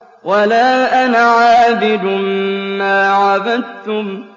وَلَا أَنَا عَابِدٌ مَّا عَبَدتُّمْ